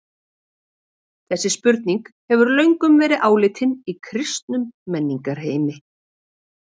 Þessi spurning hefur löngum verið áleitin í kristnum menningarheimi.